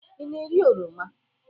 Ị na-eri oroma?